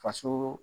Fasoo